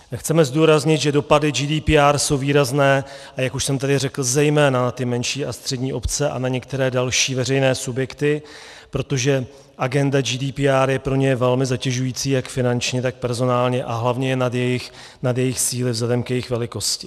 Chceme zdůraznit, že dopady GDPR jsou výrazné, a jak už jsem tady řekl, zejména na ty menší a střední obce a na některé další veřejné subjekty, protože agenda GDPR je pro ně velmi zatěžující jak finančně, tak personálně, a hlavně je nad jejich síly vzhledem k jejich velikosti.